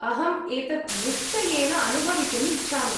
अहम् एतत् निश्चयेन अनुभवितुम् इच्छामि।